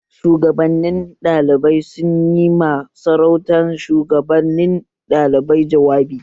Shugaban ɗalibai sun yi ma sauran shuwagabanin ɗalibai jawabi